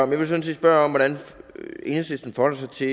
vil sådan set spørge om hvordan enhedslisten forholder sig til